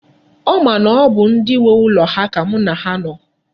Ọ ma na ọ bụ ndi nwe ụlọ ha ka mu na ha no.